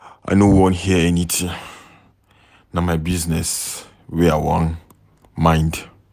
I no wan hear anything. Na my business wey I wan mind